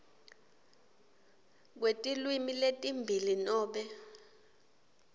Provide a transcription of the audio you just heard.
kwetilwimi letimbili nobe